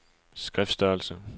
skriftstørrelse